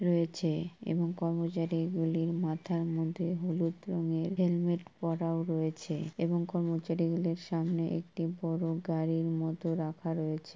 রয়েছে এবং কর্মচারীগুলির মাথার মধ্যে হলুদ রঙের হেলমেট পড়াও রয়েছে এবং কর্মচারী গুলির সামনে একটি বড়ো গাড়ির মতো রাখা রয়েছে ।